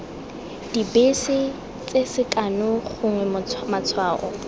dibese tse sekano gongwe matshwao